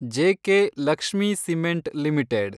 JK Lakshmi Cement limited